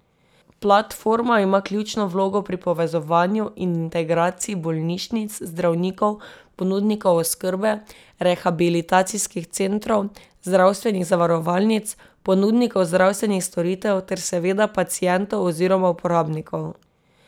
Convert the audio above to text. Platforma ima ključno vlogo pri povezovanju in integraciji bolnišnic, zdravnikov, ponudnikov oskrbe, rehabilitacijskih centrov, zdravstvenih zavarovalnic, ponudnikov zdravstvenih storitev ter seveda pacientov oziroma uporabnikov.